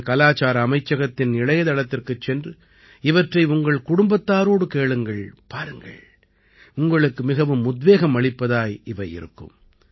நீங்கள் கலாச்சார அமைச்சகத்தின் இணையத்தளத்திற்குச் சென்று இவற்றை உங்கள் குடும்பத்தாரோடு பாருங்கள் கேளுங்கள் உங்களுக்கு மிகவும் உத்வேகம் அளிப்பதாய் இவை இருக்கும்